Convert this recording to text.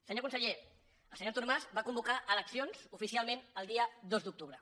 senyor conseller el senyor artur mas va convocar eleccions oficialment el dia dos d’octubre